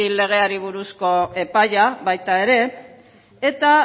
legeari buruzko epaia baita ere eta